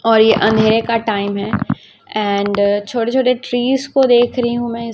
और ये अंधेरे का टाइम है एंड छोटे छोटे ट्रीज को देख रही हूं मैं--